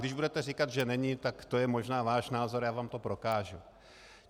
Když budete říkat, že není, tak to je možná váš názor, já vám to prokážu.